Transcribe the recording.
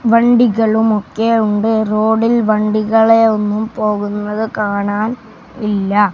വണ്ടികളും ഒക്കെ ഉണ്ട് റോഡിൽ വണ്ടികളെ ഒന്നും പോകുന്നത് കാണാൻ ഇല്ല.